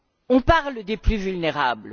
On parle des plus vulnérables.